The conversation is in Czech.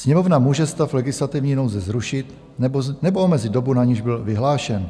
Sněmovna může stav legislativní nouze zrušit nebo omezit dobu, na niž byl vyhlášen.